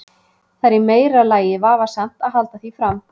Það er í meira lagi vafasamt að halda því fram.